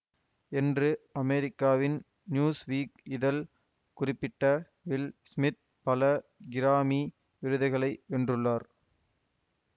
என்று அமெரிக்காவின் Newsweek இதழ் குறிப்பிட்ட வில் ஸ்மித் பல கிராமி விருதுகளை வென்றுள்ளார்